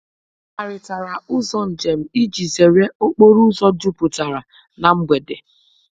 Ha kparịtara ụzọ njem iji zere okporo ụzọ jupụtara na mgbede.